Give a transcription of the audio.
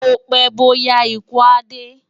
Bó pè bó yá ikú á dé